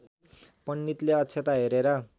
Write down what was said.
पण्डितले अक्षता हेरेर